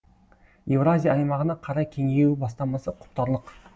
еуразия аймағына қарай кеңею бастамасы құптарлық